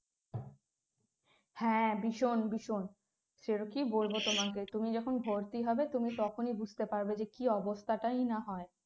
হ্যাঁ ভীষণ ভীষণ সে আর কী বলবো তোমাকে তুমি যখন ভর্তি হবে তুমি তখনই বুঝতে পারবে যে কি অবস্থাটাই না হয়